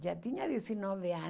Já tinha dezenove anos.